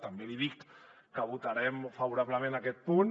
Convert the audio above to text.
també li dic que votarem favorablement aquest punt